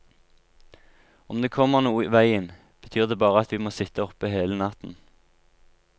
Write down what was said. Om det kommer noe i veien, betyr det bare at vi må sitte oppe hele natten.